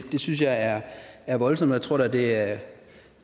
synes jeg er er voldsomt og jeg tror da at